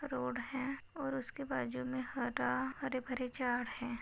Road है और उसके बाजुमे हरा हरे भरे झाड़ है।